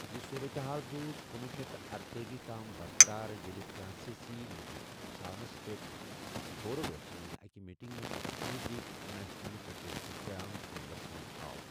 یہِ صورتحال روٗز کنوُہ شیتھ تہٕ ارتأجی تام برقرار ییٚلہِ فرانسیی لیگٕک اکسانَس پٮ۪ٹھ بورڈوَس منٛز اَکہِ میٹنگہِ منٛز رگبی لیگ انٹرنیشنل فیڈریشنُک قیام عملَس منٛز آو۔